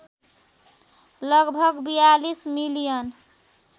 लगभग ४२ मिलियन